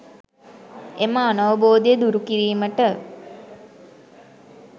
එම අනවබෝධය දුරුකිරීමට